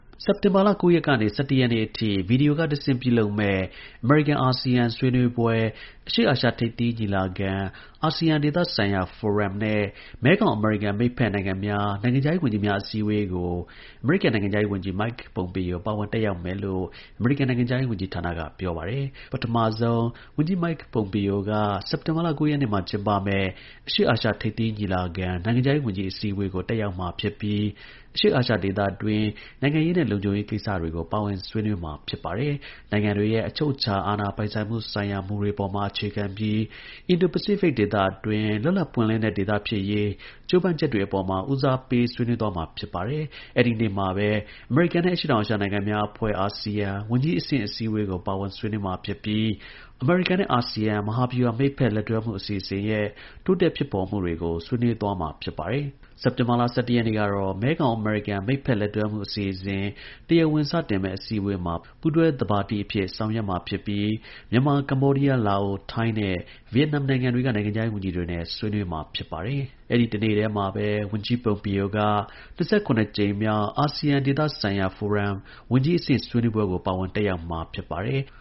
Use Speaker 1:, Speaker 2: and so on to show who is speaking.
Speaker 1: စက်တင်ဘာလ ၉ ရက်ကနေ ၁၁ ရက်နေ့အထိ ဗီဒီယိုကတဆင့် ပြုလုပ်မယ့် အမေရိကန်-အာဆီယံ ဆွေးနွေးပွဲ၊ အရှေ့အာရှ ထိပ်သီး ညီလာခံ၊ အာဆီယံ ဒေသဆိုင်ရာ ဖိုရမ်နဲ့ မဲခေါင်-အမေရိကန် မိတ်ဖက်နိုင်ငံများ နိုင်ငံခြားရေး ဝန်ကြီးများ အစည်းအဝေးကို အမေရိကန် နိုင်ငံခြားရေး ဝန်ကြီး Mike Pompeo ပါဝင် တက်ရောက်မယ်လို့ အမေရိကန်နိုင်ငံခြားရေး ဝန်ကြီးဌာနက ပြောပါတယ်။ ပထမဆုံး ဝန်ကြီး Mike Pompeo က စက်တင်ဘာလ ၉ ရက်နေ့မှာ ကျင်းပမယ့် အရှေ့အာရှ ထိပ်သီး ညီလာခံ နိုင်ငံခြားရေး ဝန်ကြီး အစည်းအဝေးကို တက်ရောက်ပြီး အရှေ့ အာရှဒေသတွင်း နိုင်ငံရေးနဲ့ လုံခြုံရေး ကိစ္စတွေကို ပါဝင် ဆွေးနွေးမှာ ဖြစ်ပါတယ်။ နိုင်ငံတွေရဲ့ အချုပ်အခြာ အာဏာပိုင်ဆိုင်မှုဆိုင်ရာ မူတွေမှာ အခြေခံပြီး Indo-Pacific ဒေသအတွင်း လွတ်လပ်ပွင့်လင်းတဲ့ ဒေသ ဖြစ်ရေး ကြိုးပမ်းချက်တွေအပေါ်မှာ ဦးစားပေး ဆွေးနွေးသွားမှာ ဖြစ်ပါတယ်။ အဲဒီနေ့မှာပဲ အမေရိကန်နဲ့ အရှေ့တောင် အာရှ နိုင်ငံများအဖွဲ့ (အာဆီယံ) ဝန်ကြီးအဆင့် အစည်းအဝေးကို ပါဝင် ဆွေးနွေးမှာ ဖြစ်ပြီး အမေရိကန်နဲ့ အာဆီယံ မဟာဗျူဟာ မိတ်ဖက် လက်တွဲမှု အစီအစဉ်ရဲ့ တိုးတက်ဖြစ်ပေါ်မှုတွေကို ဆွေးနွေးမှာ ဖြစ်ပါတယ်။ စက်တင်ဘာလ ၁၁ ရက်နေ့မှာတော့ မဲခေါင်-အမေရိကန် မိတ်ဖက်လက်တွဲမှု အစီအစဉ် တရားဝင် စတင်မယ့် အစည်းအဝေးမှာ ပူးတွဲ သဘာပတိအဖြစ် ဆောင်ရွက်ပြီး မြန်မာ၊ ကမ္ဘောဒီးယား၊ လာအို၊ ထိုင်းနဲ့ ဗီယက်နမ် နိုင်ငံတွေက နိုင်ငံခြားရေးဝန်ကြီးတွေနဲ့ အတူ ဆွေးနွေးမှာ ဖြစ်ပါတယ်။ အဲဒီ တစ်နေ့တည်းမှာပဲ ဝန်ကြီး Pompeo က ၂၇ ကြိမ်မြောက် အာဆီယံ ဒေသဆိုင်ရာ ဖိုရမ် ဝန်ကြီးအဆင့် ဆွေးနွေးပွဲကို ပါဝင် တက်ရောက်မှာ ဖြစ်ပါတယ်။